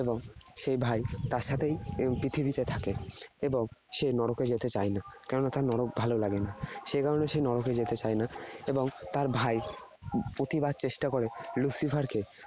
সেই ভাই তার সাথেই এই পৃথিবীতে থাকে। এবং সে নরকে যেতে চায় না। কেননা তার নরক ভালো লাগে না। সেই কারণে সে নরকে যেতে চায় না। এবং তার ভাই প্রতিবার চেষ্টা করে Lucifer কে